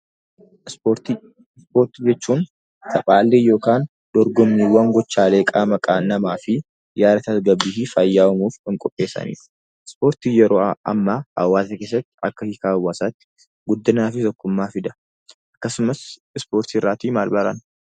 Ispoortii jechuun taphaalee yookiin dorgommii gochaalee qaama namaa fi yaada tasgabbii fi fayyaa uumuuf kan qopheessanidha. Ispoortiin hawaasa keessatti guddinaa fi tokkummaa fida.